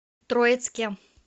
троицке